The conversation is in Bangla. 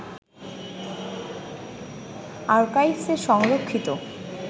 আরকাইভস্-এ সংরক্ষিত